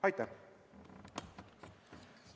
Aitäh!